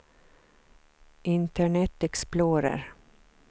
internet explorer